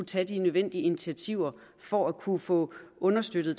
tage de nødvendige initiativer for at kunne få understøttet